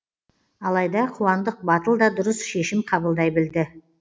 алайда қуандық батыл да дұрыс шешім қабылдай білді